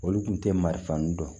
Olu kun te marifa nun dɔn